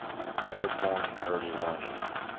airborne early warning